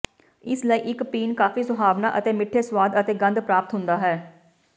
ਇਸ ਲਈ ਇੱਕ ਪੀਣ ਕਾਫ਼ੀ ਸੁਹਾਵਣਾ ਅਤੇ ਮਿੱਠੇ ਸੁਆਦ ਅਤੇ ਗੰਧ ਪ੍ਰਾਪਤ ਹੁੰਦਾ ਹੈ